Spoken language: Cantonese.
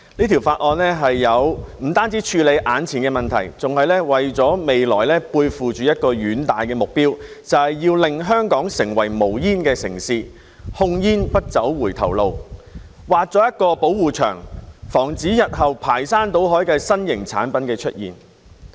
《條例草案》不單處理眼前的問題，更為了未來背負着一個遠大的目標，就是要令香港成為無煙城市，控煙不走回頭路，畫出一道保護牆，防止日後新型產品排山倒海地出現。